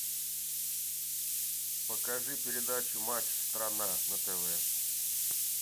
покажи передачу матч страна на тв